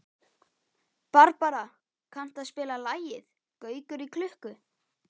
Barbara, kanntu að spila lagið „Gaukur í klukku“?